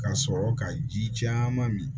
Ka sɔrɔ ka ji caman min